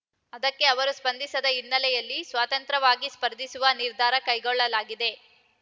ಅದಕ್ಕೆ ಅವರು ಸ್ಪಂದಿಸದ ಹಿನ್ನೆಲೆಯಲ್ಲಿ ಸ್ವತಂತ್ರವಾಗಿ ಸ್ಪರ್ಧಿಸುವ ನಿರ್ಧಾರ ಕೈಗೊಳ್ಳಲಾಗಿದೆ